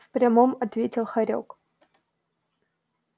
в прямом ответил хорёк